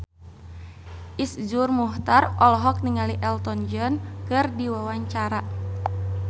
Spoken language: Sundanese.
Iszur Muchtar olohok ningali Elton John keur diwawancara